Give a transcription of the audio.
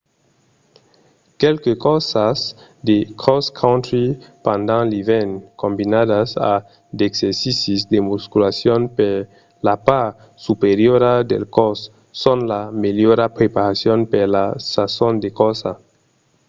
quelques corsas de cross-country pendent l'ivèrn combinadas a d'exercicis de musculacion per la part superiora del còs son la melhora preparacion per la sason de corsa